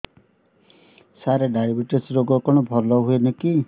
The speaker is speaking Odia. ସାର ଡାଏବେଟିସ ରୋଗ କଣ ଭଲ ହୁଏନି କି